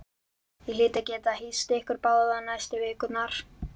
Ég hlýt að geta hýst ykkur báða næstu vikurnar